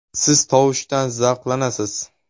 Siz tovushdan zavqlanasiz.